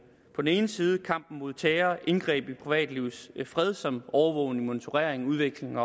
ene side kampen mod terror indgreb i privatlivets fred som overvågning monitorering og udveksling